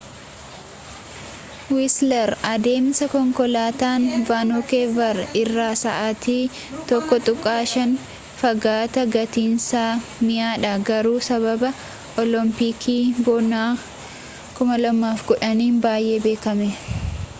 wiisler adeemsa konkolaataan vaankoover irraa sa’aatii 1.5 fagaata gatiinsa mi’aadha garuu sababa olompikii bonaa 2010’n baay’ee beekame